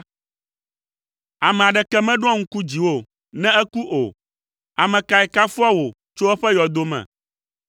Ame aɖeke meɖoa ŋku dziwò ne eku o. Ame kae kafua wò tso eƒe yɔdo me?